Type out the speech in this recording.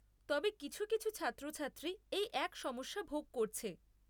তবে কিছু কিছু ছাত্রছাত্রী এই এক সমস্যা ভোগ করছে।